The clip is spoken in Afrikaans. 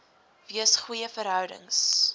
wees goeie verhoudings